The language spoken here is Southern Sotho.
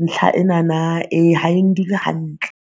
Ntlha enana e ha e ndule hantle.